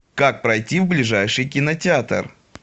как пройти в ближайший кинотеатр